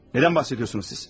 Nədən bəhs edirsiniz siz?